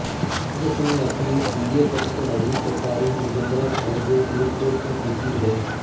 ਉਸ ਨੇ ਆਪਣੀ ਬੀ ਏ ਤੱਕ ਪੜ੍ਹਾਈ ਸਰਕਾਰੀ ਬਰਜਿੰਦਰਾ ਕਾਲਜ ਫਰੀਦਕੋਟ ਤੋਂ ਕੀਤੀ ਹੈ